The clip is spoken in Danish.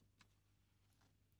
DR1: